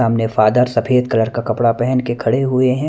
Father सफेद colour का कपड़ा पहन के खड़े हुए हैं।